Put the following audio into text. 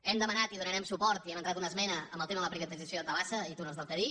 hem demanat i hi donarem suport i hem entrat una esmena amb el tema de la privatització de tabasa i túnels del cadí